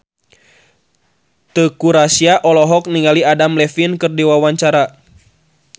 Teuku Rassya olohok ningali Adam Levine keur diwawancara